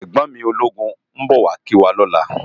Ègbòn mi ólógún n bò wá kiwá lòlá